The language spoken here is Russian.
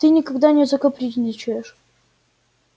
ты никогда не капризничаешь